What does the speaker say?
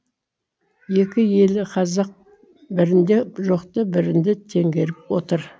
екі елі қазақ бірінде жоқты бірінде теңгеріп отыр